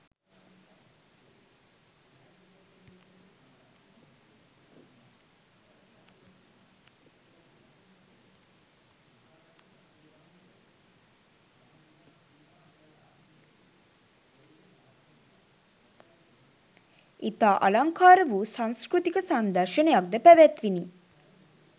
ඉතා අලංකාරවූ සංස්කෘතික සංදර්ශනයක්ද පැවැත්විණි